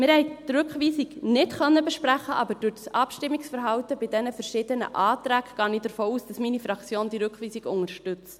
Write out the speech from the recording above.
Wir konnten die Rückweisung nicht besprechen, aber durch das Abstimmungsverhalten bei diesen verschiedenen Anträgen gehe ich davon aus, dass meine Fraktion diese Rückweisung unterstützt.